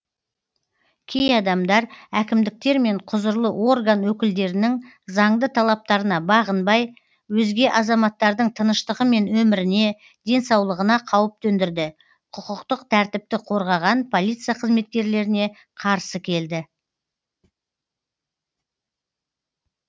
кей адамдар әкімдіктер мен құзырлы орган өкілдерінің заңды талаптарына бағынбай өзге азаматтардың тыныштығы мен өміріне денсаулығына қауіп төндірді құқықтық тәртіпті қорғаған полиция қызметкерлеріне қарсы келді